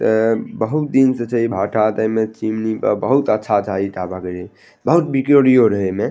एता बहुत दिन से छै भट्ठा ते बे चिमनी पर बहुत अच्छा अच्छा ईटा बहुत बिक्रियो रहे।